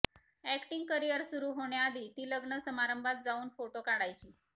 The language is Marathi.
अॅक्टींग करिअर सुरू होण्याआधी ती लग्न समारंभात जाऊन फोटो काढायची